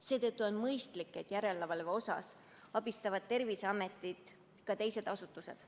Seetõttu on mõistlik, et järelevalve tegemisel abistavad Terviseametit ka teised asutused.